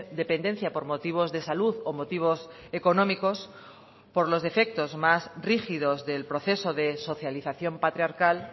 dependencia por motivos de salud o motivos económicos por los defectos más rígidos del proceso de socialización patriarcal